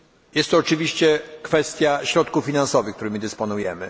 Jest to oczywiście kwestia środków finansowych, którymi dysponujemy.